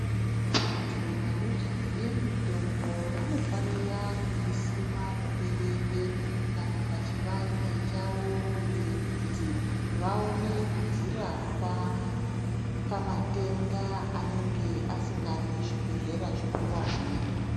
Vanthu vanoziye mutombo vanofanira kuisima muberere kana pachivanze chavo kuitire kuti vaone kudzirapa pamatenda anenge asingadi zvibhedhlera zvikuwani.